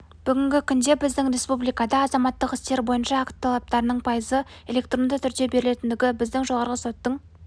бүгінгі күнде біздің республикада азаматтық істер бойынша акт талаптарының пайызы электронды түрде берілетіндігі біздің жоғарғы соттың